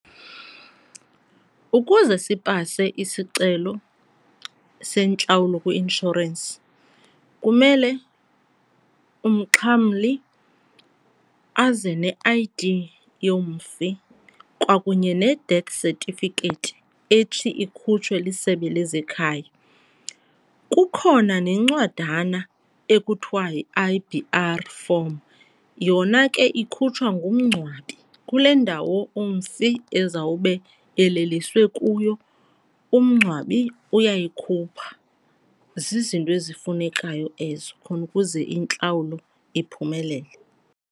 Ukuze sipase isicelo sentlawulo kwi-inshorensi kumele umxhamli aze ne-I_D yomfi kwakunye ne-death certificate ethi ikhutshwe liSebe lezeKhaya. Kukhona nencwadana ekuthiwa yi-I_B_R form, yona ke ikhutshwa ngumngcwabi kule ndawo umfi ezawube eleliswe kuyo umngcwabi uyayikhupha. Zizinto ezifunekayo ezo khona ukuze intlawulo iphumelele.